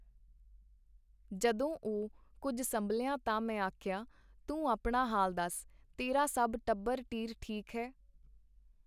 ਜਦੋਂ ਉਹ ਕੁੱਝ ਸੰਭਲਿਆ ਤਾਂ ਮੈਂ ਆਖਿਆ, ਤੂੰ ਆਪਣਾ ਹਾਲ ਦੱਸ? ਤੇਰਾ ਸਭ ਟੱਬਰ ਟ੍ਹੀਰ ਠੀਕ ਐ?.